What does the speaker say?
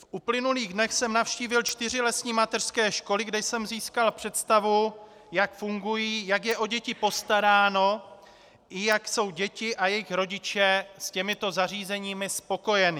V uplynulých dnech jsem navštívil čtyři lesní mateřské školy, kde jsem získal představu, jak fungují, jak je o děti postaráno i jak jsou děti a jejich rodiče s těmito zařízeními spokojeni.